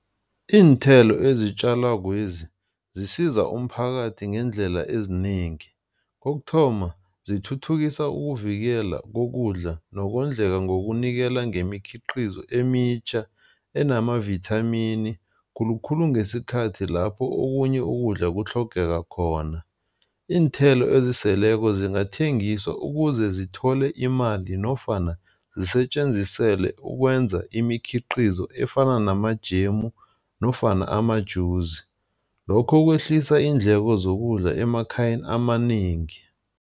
Iinthelo ezitjalakwezi zisiza umphakathi ngeendlela ezinengi. Kokuthoma, zithuthukisa ukuvikela kokudla nokondleka ngokunikela ngemikhiqizo emitjha enamavithamini khulukhulu ngesikhathi lapho okunye ukudla kutlhogeka khona. Iinthelo eziseleko zingathengiswa ukuze zithole imali nofana zisetjenzisele ukwenza imikhiqizo efana namajemu nofana amajuzi. Lokho kwehlisa iindleko zokudla emakhayeni amanengi.